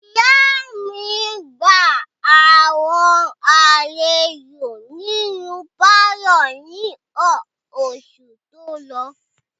Ìyá mi gba àwọn àlejò nínú pálọ̀ ní oṣù tó lọ.